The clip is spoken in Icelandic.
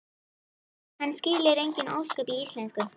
Hann skilur engin ósköp í íslensku.